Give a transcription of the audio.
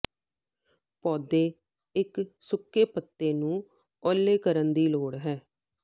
ਪੌਦੇ ਇੱਕ ਸੁੱਕੇ ਪੱਤੇ ਨੂੰ ਓਹਲੇ ਕਰਨ ਦੀ ਲੋੜ ਹੈ